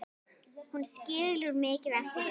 Hún skilur mikið eftir sig.